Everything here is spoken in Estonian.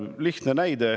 Lihtne näide.